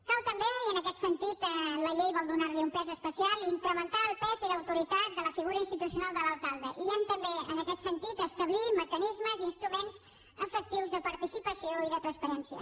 cal també i en aquest sentit la llei vol donar hi un pes especial incrementar el pes i l’autoritat de la figura institucional de l’alcalde i hem també en aquest sentit d’establir mecanismes i instruments efectius de participació i de transparència